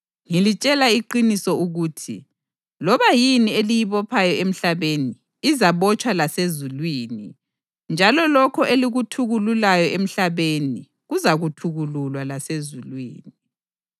Ngilitshela iqiniso ukuthi, loba yini eliyibophayo emhlabeni izabotshwa lasezulwini njalo lokho elikuthukululayo emhlabeni kuzathukululwa lasezulwini.